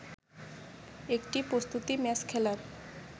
একটি প্রস্তুতি ম্যাচ খেলার